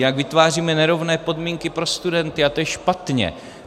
Jinak vytváříme nerovné podmínky pro studenty a to je špatně.